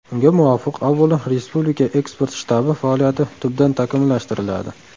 Unga muvofiq, avvalo, Respublika eksport shtabi faoliyati tubdan takomillashtiriladi.